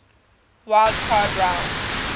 wild card round